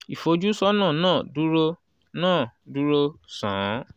ìfojúsọ́nà náà dúró náà dúró sán-ún.